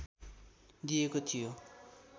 दिएको थियो